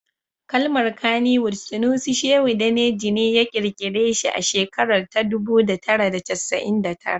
Kalmar Kannywood Sunusi Shehu Daneji ne ya kirkira shi a shekarar ta dubu da tara da casa'in tara